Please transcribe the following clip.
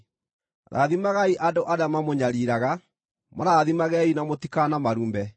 Rathimagai andũ arĩa mamũnyariiraga; marathimagei na mũtikanamarume.